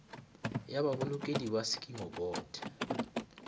ya babolokedi ba sekimo bot